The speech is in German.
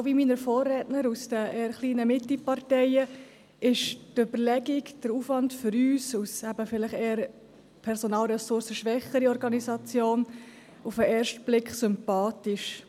Genau wie meinen Vorrednern aus den eher kleinen Mitteparteien und als eher ressourcenschwächere Organisation ist uns der Vorstoss auf den ersten Blick sympathisch.